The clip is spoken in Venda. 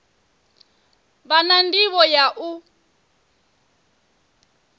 vha na ndivho ya u